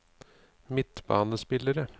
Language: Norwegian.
midtbanespillere